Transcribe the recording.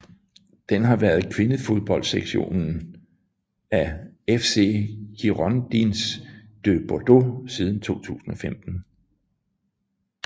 Den har været kvindefodboldsektionen af FC Girondins de Bordeaux siden 2015